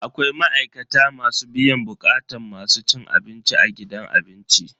Akwai ma'aikata masu biyan bukatun masu cin abinci a gidan abinci.